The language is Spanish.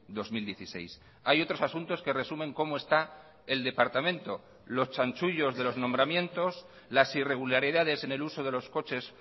dos mil dieciséis hay otros asuntos que resumen cómo está el departamento los chanchullos de los nombramientos las irregularidades en el uso de los coches